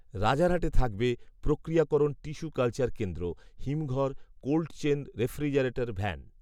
রাজারহাটে থাকবে প্রক্রিয়াকরণ tissue culture কেন্দ্র, হিমঘর, কোল্ডচেন রেফ্রিজারেটর ভ্যান